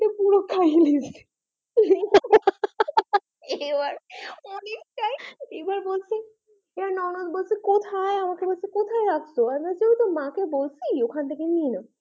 পুরো খেয়ে নিয়েছে এবার অনেকটাই এবার বলছে এবার ননদ বলছে কোথায়? আমাকে বলছে কোথায় রাখছো? আমি বলছি ওই তো মাকে বলছি ওখান থেকে নিয়ে নাও,